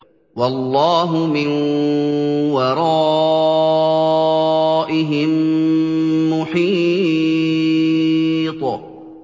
وَاللَّهُ مِن وَرَائِهِم مُّحِيطٌ